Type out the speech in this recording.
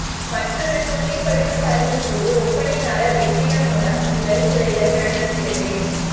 மற்றொரு தூய்மைப்படுத்தும் பணியின் போது ஒப்பனையாளர் வெற்றிடம் மூலம் உங்கள் துளைகள் நடத்துகிறது